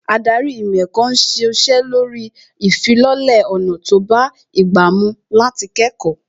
Ádárì ìmọ̀ ẹ̀kọ́ ń ṣiṣẹ́ lórí ìfilọ́lẹ̀ ọ̀nà tó bá ìgbà mú láti kẹ́kọ̀ọ́